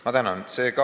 Ma tänan!